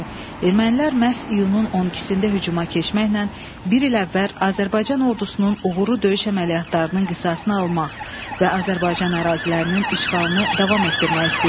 Ermənilər məhz iyunun 12-də hücuma keçməklə bir il əvvəl Azərbaycan ordusunun uğurlu döyüş əməliyyatlarının qisasını almaq və Azərbaycan ərazilərinin işğalını davam etdirmək istəyirdilər.